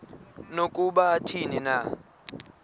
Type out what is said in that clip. nokuba athini na